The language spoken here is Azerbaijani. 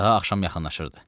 Daha axşam yaxınlaşırdı.